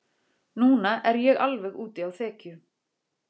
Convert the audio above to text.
Núna er ég alveg úti á þekju.